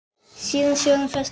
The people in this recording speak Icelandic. Síaði sjórinn fæst á